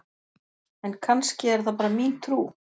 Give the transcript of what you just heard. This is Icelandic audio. En kannski er það bara mín trú!?